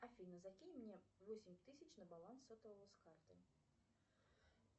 афина закинь мне восемь тысяч на баланс сотового с карты